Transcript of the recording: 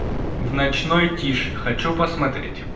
в ночной тиши хочу посмотреть